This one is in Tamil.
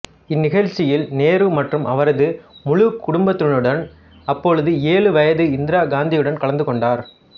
இந்நிகழ்ச்சியில் நேரு மற்றும் அவரது முழு குடும்பத்தினருடன் அப்போது ஏழு வயது இந்திரா காந்தியுடன் கலந்து கொண்டார்